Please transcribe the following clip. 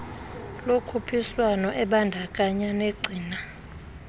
lokhuphiswano ebandakanya negcina